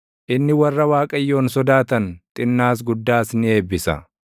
inni warra Waaqayyoon sodaatan, xinnaas guddaas ni eebbisa.